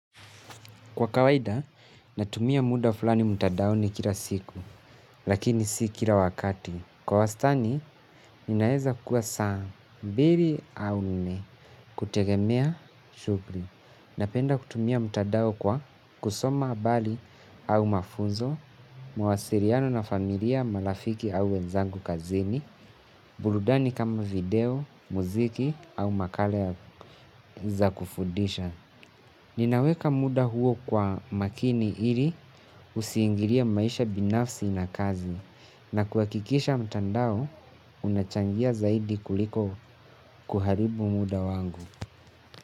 Kwa kawaida, natumia muda fulani mtadaoni kila siku, lakini si kila wakati. Kwa wastani, inaeza kua saa, mbiri au nne, kutegemea shughri. Napenda kutumia mtadao kwa kusoma abali au mafunzo, mawasiriano na familia, malafiki au wenzangu kazini, buludani kama video, muziki au makale ya za kufudisha. Ninaweka muda huo kwa makini ili usiingirie maisha binafsi na kazi na kuakikisha mtandao unachangia zaidi kuliko kuharibu muda wangu.